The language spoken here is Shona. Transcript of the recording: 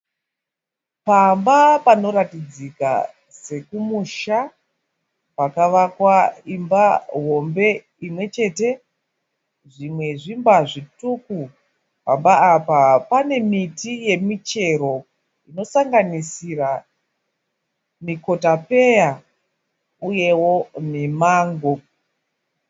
Pamba panoratidzika sekumusha pakavakwa imba hombe imwechete. Zvimwe zvimba zvituku. Pamba apa pane miti yemichero inosanganisira mikotapeya uyewo nemango.